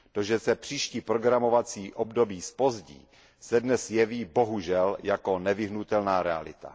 To, že se příští programovací období zpozdí, se dnes jeví, bohužel, jako nevyhnutelná realita.